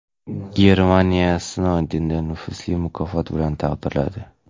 Germaniya Snoudenni nufuzli mukofot bilan taqdirladi.